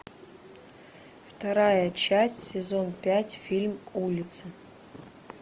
вторая часть сезон пять фильм улицы